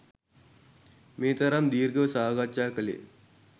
මේ තරම් දීර්ඝව සාකච්ඡා කළේ